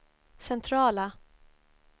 centrala